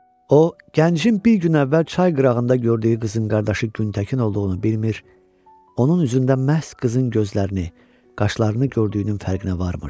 O gəncin bir gün əvvəl çay qırağında gördüyü qızın qardaşı Güntəkin olduğunu bilmir, onun üzündən məhz qızın gözlərini, qaşlarını gördüyünün fərqinə varmırdı.